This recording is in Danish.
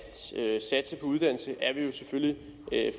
satse på uddannelse er vi selvfølgelig